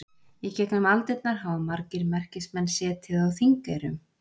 Í gegnum aldirnar hafa margir merkismenn setið á Þingeyrum.